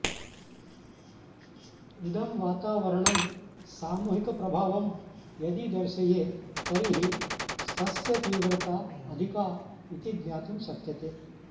इदं वातावरणं सामूहिकप्रभावं यदि दर्शयेत् तर्हि तस्य तीव्रता अधिका इति ज्ञातुं शक्यते